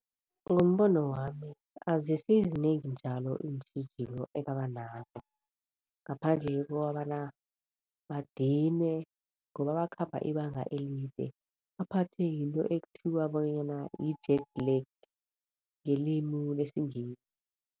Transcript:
Ngombono wami, azisizinengi njalo iintjhijilo ebabanazo ngaphandle kokobana badwine ngoba bakhamba ibanga elide baphathe yinto ekuthiwa bonyana yi-jet lag ngelimu lesiNgisi.